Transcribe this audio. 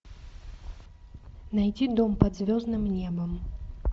найти дом под звездным небом